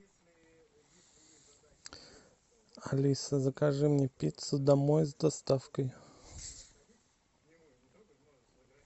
алиса закажи мне пиццу домой с доставкой